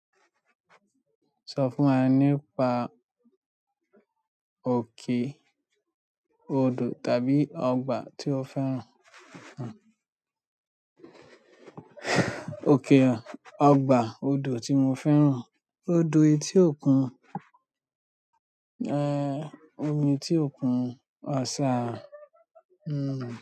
Sọ fún wa nípa òkè odò tàbí ọgbà tí o fẹ́ràn. Òkè ọgbà odo ti mo fẹ́ràn, odo eti okun, omi eti okun, ọsa hmm.